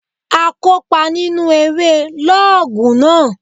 A kópa nínu eré lọ́ọ̀gù náà